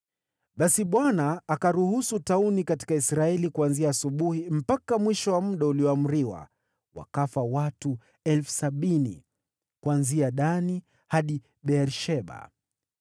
Basi Bwana akatuma tauni katika Israeli kuanzia asubuhi mpaka mwisho wa muda ulioamriwa, wakafa watu 70,000 kuanzia Dani hadi Beer-Sheba.